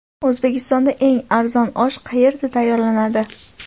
O‘zbekistonda eng arzon osh qayerda tayyorlanadi?.